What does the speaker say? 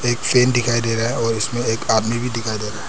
एक फ्रेम दिखाई दे रहा है और इसमें एक आदमी भी दिखाई दे रहा है।